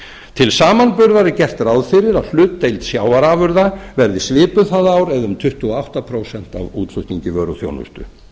til samanburðar er gert ráð fyrir að hlutdeild sjávarafurða verði svipuð það ár eða um tuttugu og átta prósent af útflutningi vöru og þjónustu